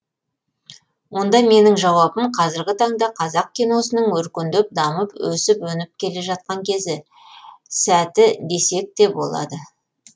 онда менің жауабым қазіргі таңда қазақ киносының өркендеп дамып өсіп өніп келе жатқан кезі сәті десек те болады